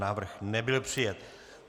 Návrh nebyl přijat.